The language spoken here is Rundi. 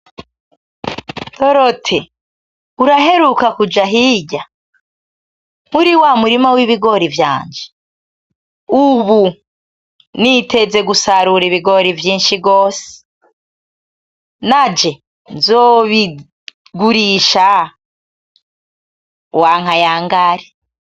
Dorothe, uraheruka kuja hirya muri wa murima w’ibigori vyanje? Ubu niteze gusarura ibigori vyinshi gose, nanje nzobigurisha. Uwanka yangare.